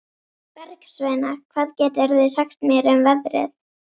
Bergsveina, hvað geturðu sagt mér um veðrið?